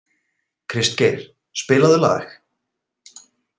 Kristgeir, spilaðu lag.